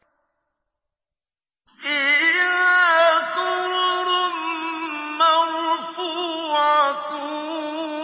فِيهَا سُرُرٌ مَّرْفُوعَةٌ